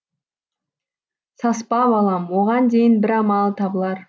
саспа балам оған дейін бір амалы табылар